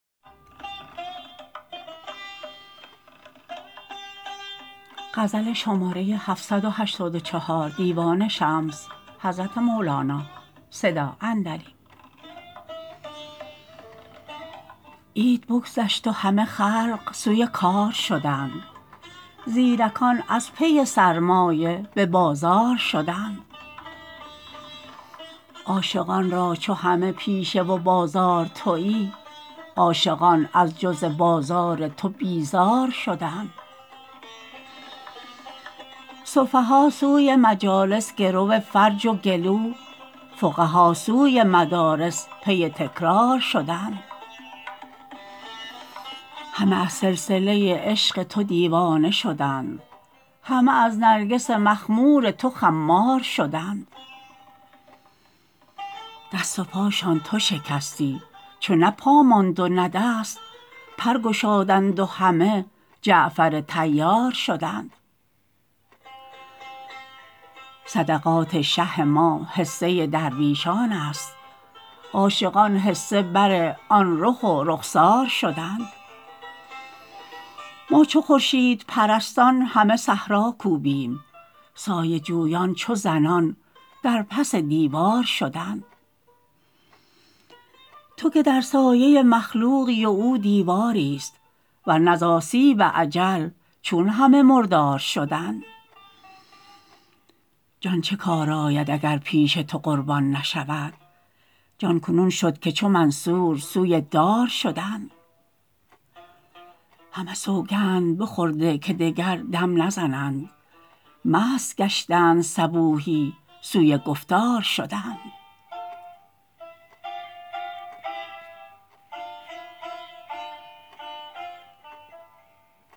عید بگذشت و همه خلق سوی کار شدند زیرکان از پی سرمایه به بازار شدند عاشقان را چو همه پیشه و بازار توی عاشقان از جز بازار تو بیزار شدند سفها سوی مجالس گرو فرج و گلو فقها سوی مدارس پی تکرار شدند همه از سلسله عشق تو دیوانه شدند همه از نرگس مخمور تو خمار شدند دست و پاشان تو شکستی چو نه پا ماند و نه دست پر گشادند و همه جعفر طیار شدند صدقات شه ما حصه درویشانست عاشقان حصه بر آن رخ و رخسار شدند ما چو خورشیدپرستان همه صحرا کوبیم سایه جویان چو زنان در پس دیوار شدند تو که در سایه مخلوقی و او دیواریست ور نه ز آسیب اجل چون همه مردار شدند جان چه کار آید اگر پیش تو قربان نشود جان کنون شد که چو منصور سوی دار شدند همه سوگند بخورده که دگر دم نزنند مست گشتند صبوحی سوی گفتار شدند